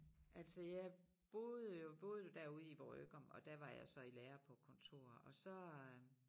Altså jeg boede jo boede jo derude i Vrøgum og der var jeg så i lære på kontor og så øh